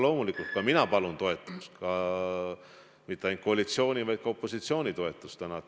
Loomulikult ka mina palun täna mitte ainult koalitsiooni, vaid ka opositsiooni toetust.